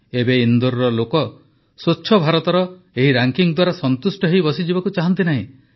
ଏବେ ଇନ୍ଦୋରର ଲୋକ ସ୍ୱଚ୍ଛ ଭାରତର ଏହି ରାଙ୍କିଙ୍ଗ୍ ଦ୍ୱାରା ସନ୍ତୁଷ୍ଟ ହୋଇ ବସିଯିବାକୁ ଚାହାନ୍ତି ନାହିଁ